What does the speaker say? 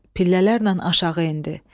Pillələrlə aşağı endi.